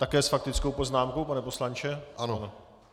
Také s faktickou poznámkou, pane poslanče?